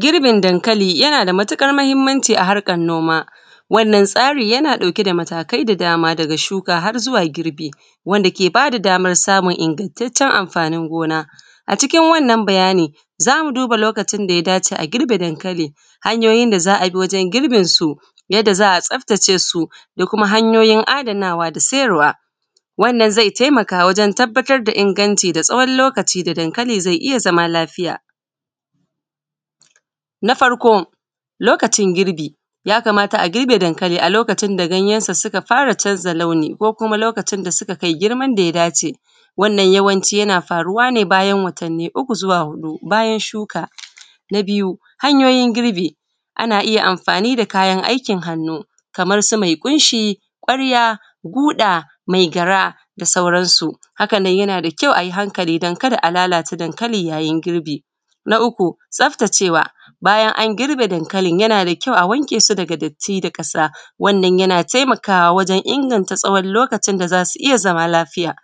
Girbin dankali yana da matuƙar mahinimanci a harkan noma wannan tsari yana ɗauke da matakai da dama tun daga shuka har zuwa girbi wanda ke bada daman samun ingantaccen anfanin gona a cikin wannan bayani za mu duba lokutan da ya dace a girbe dankali hanyoyin da za a bi wajen girbin su yadda za a tsaftacewa ko kuma hanyoyin adanawa da siyarwa wannan zai taimaka wajen sanin ingancin wannan lokutan da dankali zai iya zama lafiya na farko lokutan girbi yakamata a girbe dankali a lokutan da ganyensu suka fara canza launi ko kuma lokutan da suka kai girman da ya dace wannan yawanci yana faruwa ne tsawon watanni uku zuwa huɗu bayan shuƙa na biyu hanyoyin girbi ana iya anfani da kayan aikin hannu kamarsu me ƙunshi ƙwarya guda maigyara da sauransu hakan nan yana da kyau a yi a hankali kar a lalata dankalin yayin girbi na uku tsaftacewa bayan an girbe dankali yana da kyau a wanke su daga dati da ƙasa wannan yana taimakawa wajen inganta tsawon lokutan da zai iya zama lafiya